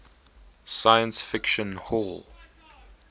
science fiction hall